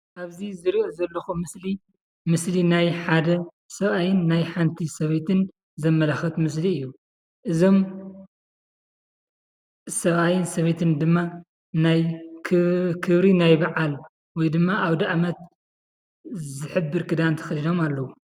ኣብዚ ዝርኦ ዘለኩ ምስሊ ምስሊ ናይ ሓደ ሰብኣይን ናይ ሓንቲ ሰበይቲን ዘመላክት ምስሊ እዩ። እዞም ሰብኣይን ሰበይትን ድማ ናይ ክብ ክብሪ ባዓል ወይድማ ኣውዳኣመት ዝሕብር ክዳን ተከዲኖም ኣለዉ።